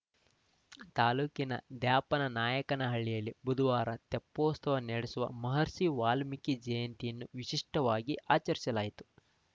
ತಾಲೂಕಿನ ದ್ಯಾಪನಾಯಕನಹಳ್ಳಿಯಲ್ಲಿ ಬುಧುವಾರ ತೆಪ್ಪೋತ್ಸವ ನಡೆಸುವ ಮಹರ್ಷಿ ವಾಲ್ಮೀಕಿ ಜಯಂತಿಯನ್ನು ವಿಶಿಷ್ಟವಾಗಿ ಆಚರಿಸಲಾಯಿತು